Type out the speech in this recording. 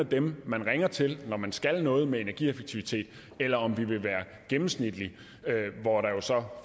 dem man ringer til når man skal noget med energieffektivitet eller om vi vil være gennemsnitlige hvor der